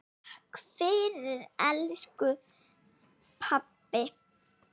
Takk fyrir allt elsku pabbi.